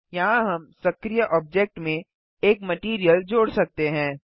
यहाँ हम सक्रीय ऑब्जेक्ट में एक मटैरियल जोड़ सकते हैं